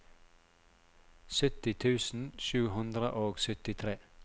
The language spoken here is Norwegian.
sytti tusen sju hundre og syttitre